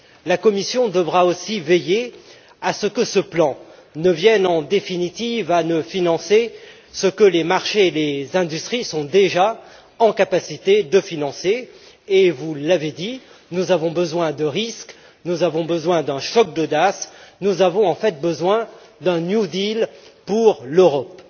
La Commission devra aussi veiller à ce que ce plan ne vienne en définitive à ne financer que ce que les marchés et les industries sont déjà en capacité de financer et, vous l'avez dit, nous avons besoin de risques, d'un choc d'audace, nous avons en fait besoin d'un New Deal pour l'Europe.